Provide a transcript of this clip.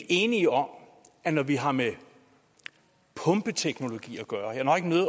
enige om at når vi har med pumpeteknologi at gøre